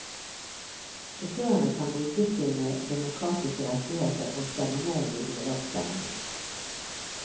Sjåførene kan bruke sine demokratiske rettigheter og stemme nei ved uravstemningen.